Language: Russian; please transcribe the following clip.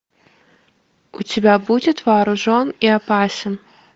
у тебя будет вооружен и опасен